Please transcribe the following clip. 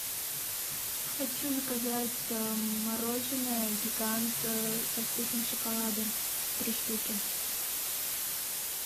хочу заказать мороженое гигант со вкусом шоколада три штуки